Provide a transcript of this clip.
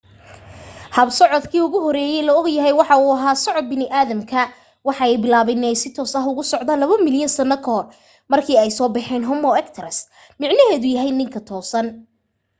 hab socdaalkii ugu horeyey la ogyahay waxa uu ahaa socod bini'aadamka waxa ay bilaaben in ay si toos ah u socdaan labo milyan sano kahor markii ay soo baxeyn homo erectus micnaheedu yahay ninka toosan